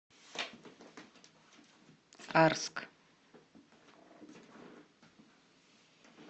арск